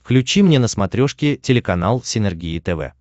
включи мне на смотрешке телеканал синергия тв